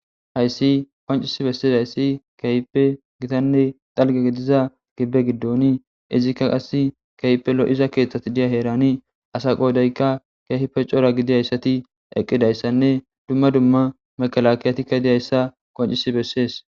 Hayssi qoncisi besses hayssi keype gitanne xalge gidiza gibbe giddoni izikka qas keypelo7iza keeththati diya heerani asa qoodayka keehi pe cora gidihayssati eqqidayssanne dumma dumma makalakiyatikka diyayssa qoncisi bessees.